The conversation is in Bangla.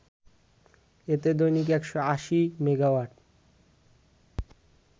এতে দৈনিক ১৮০ মেগাওয়াট